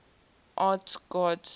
arts gods